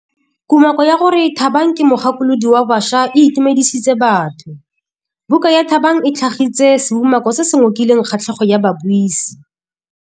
Kumakô ya gore Thabang ke mogakolodi wa baša e itumedisitse batho. Buka ya Thabang e tlhagitse seumakô se se ngokileng kgatlhegô ya babuisi.